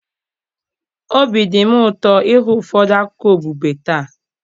obi dị m ụtọ ịhụ ụfọdụ akụkọ okpukpe taa.